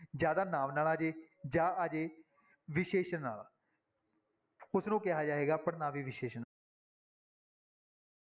ਜਾਂ ਤਾਂ ਨਾਂਵ ਨਾਲ ਆ ਜਾਏ ਜਾਂ ਆ ਜਾਏ ਵਿਸ਼ੇਸ਼ਣ ਨਾਲ ਉਸਨੂੰ ਕਿਹਾ ਜਾਏਗਾ ਪੜ੍ਹਨਾਂਵੀ ਵਿਸ਼ੇਸ਼ਣ।